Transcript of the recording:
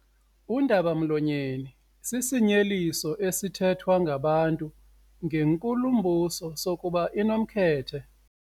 Undaba-mlonyeni sisinyeliso esithethwa ngabantu ngenkulumbuso sokuba inomkhethe.